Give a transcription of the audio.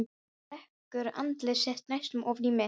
Hún rekur andlit sitt næstum ofan í mitt.